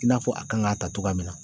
I n'a fɔ a kan ŋ'a ta togoya min na